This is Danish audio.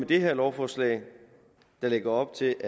det her lovforslag lægger op til